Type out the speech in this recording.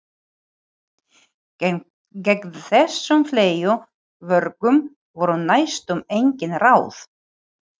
Gegn þessum fleygu vörgum voru næstum engin ráð.